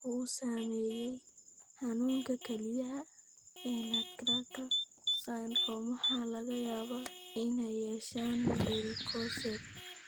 Ragga uu saameeyay xanuunka kelyaha ee nutcracker syndrome waxaa laga yaabaa inay yeeshaan varicocele.